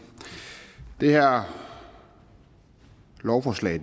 det her lovforslag